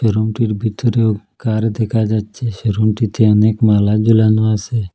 রুমটির ভিতরেও কার দেখা যাচ্ছে সে রুমটিতে অনেক মালা জোলানো আসে।